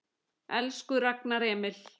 Elsku Ragnar Emil.